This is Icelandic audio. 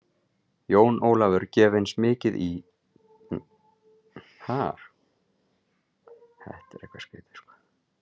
Jón Ólafur gef eins mikið í og hann gat og lækkaði flugið um leið.